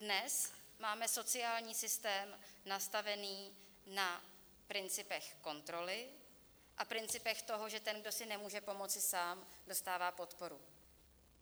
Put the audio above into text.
Dnes máme sociální systém nastavený na principech kontroly a principech toho, že ten, kdo si nemůže pomoci sám, dostává podporu.